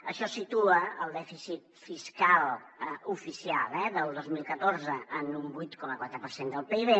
això situa el dèficit fiscal oficial eh del dos mil catorze en un vuit coma quatre per cent del pib